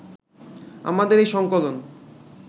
আমাদের এই সংকলন